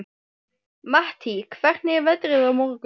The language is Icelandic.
Mattý, hvernig er veðrið á morgun?